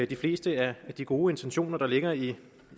de fleste af de gode intentioner der ligger i